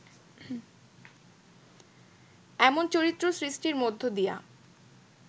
এমন চরিত্র সৃষ্টির মধ্য দিয়া